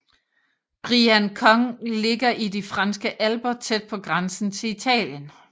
Briançon ligger i de franske alper tæt på grænsen til Italien